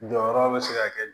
Jɔyɔrɔ bɛ se ka kɛ